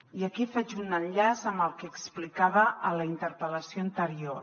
i aquí faig un enllaç amb el que explicava a la interpel·lació anterior